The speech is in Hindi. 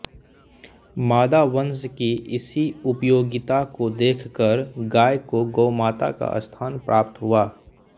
मादा वंश की इसी उपयोगिता को देखकर गाय को गोमाता का स्थान प्राप्त हुआ